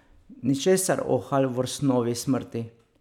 Ničesar o Halvorsnovi smrti.